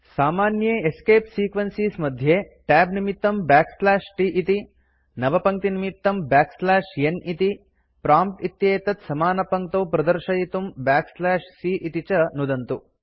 सामान्ये escape sequences मध्ये tab निमित्तं t इति नवपङ्क्तिनिमित्तं n इति प्रॉम्प्ट् इत्येतत् स्मानपङ्क्तौ प्रदर्शयितुं c इति च नुदन्तु